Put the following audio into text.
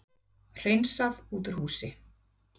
Hreinsað út úr húsi